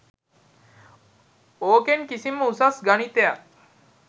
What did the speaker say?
ඕකෙන් කිසිම උසස් ගණිතයක්